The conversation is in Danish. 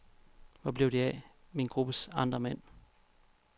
Hvor blev de af, min gruppes andre mænd?